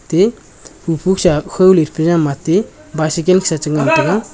atey khu phu sa kho le the pe ja ma atey bicycle sa che ngan tega.